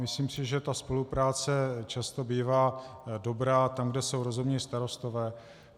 Myslím si, že ta spolupráce často bývá dobrá tam, kde jsou rozumní starostové.